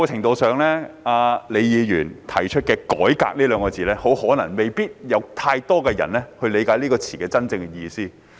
李議員所提出的"改革"二字，可能未必有太多人理解其真正意思。